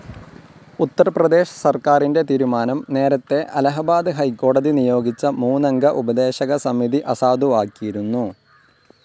ഉത്തർപ്രേദശ് സർക്കാരിന്റെ തീരുമാനം നേരത്തെ അലഹബാദ് ഹൈക്കോടതി നിയോഗിച്ച മൂന്നംഗ ഉപദേശക സമിതി അസാധുവാക്കിയിരുന്നു.